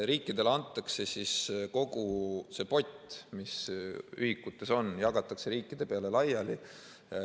Riikidele antakse siis kogu see pott, mis ühikutes on, jagatakse riikide peale laiali.